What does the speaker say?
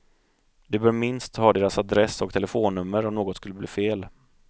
Du bör minst ha deras adress och telefonnummer om något skulle bli fel.